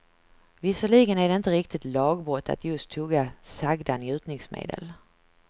Visserligen är det inte riktigt lagbrott att just tugga sagda njutningsmedel.